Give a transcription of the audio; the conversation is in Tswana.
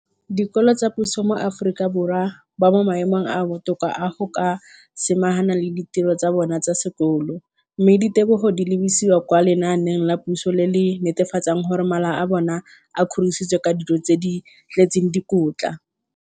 dikolo tsa puso mo Aforika Borwa ba mo maemong a a botoka a go ka samagana le ditiro tsa bona tsa sekolo, mme ditebogo di lebisiwa kwa lenaaneng la puso le le netefatsang gore mala a bona a kgorisitswe ka dijo tse di tletseng dikotla.